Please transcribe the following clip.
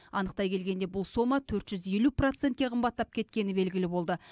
анықтай келгенде бұл сома төрт жүз елу процентке қымбаттап кеткені белгілі болды